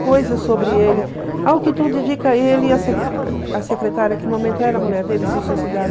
coisas sobre ele, ao que tudo dedica ele e a secretária, a secretária que no momento era a mulher dele, se suicidaram.